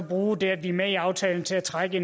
bruge det at vi er med i aftalen til at trække